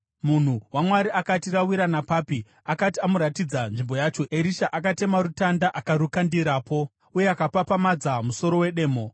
Munhu waMwari akati, “Rawira napapi?” Akati amuratidza nzvimbo yacho, Erisha akatema rutanda akarukandirapo, uye akapapamadza musoro wedemo.